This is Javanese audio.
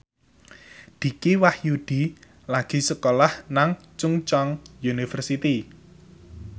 Dicky Wahyudi lagi sekolah nang Chungceong University